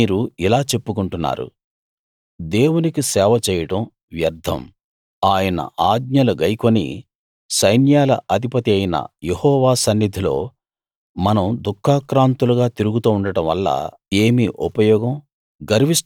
మీరు ఇలా చెప్పుకుంటున్నారు దేవునికి సేవ చేయడం వ్యర్ధం ఆయన ఆజ్ఞలు గైకొని సైన్యాల అధిపతియైన యెహోవా సన్నిధిలో మనం దుఃఖాక్రాంతులుగా తిరుగుతూ ఉండడంవల్ల ఏమి ఉపయోగం